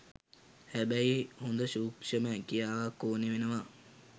හැබැයි හොඳ සූක්ෂම හැකියාවක් ඕනෙ වෙනවා